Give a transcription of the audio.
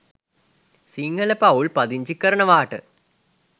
සිංහල පවුල් පදිංචි කරනවාට